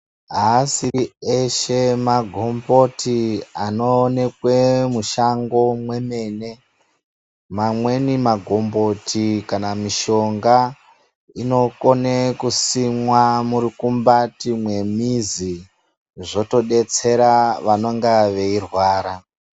Aasiri eshe magomboti anoonekwe mushango mwemene. Mamweni magomboti kana mishonga inokone kusimwa murukumbati mwemizi zvotodetsera vanenge veirwara.